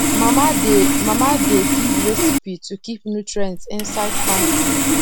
mama dey mama dey give recipe to keep nutrients inside farm food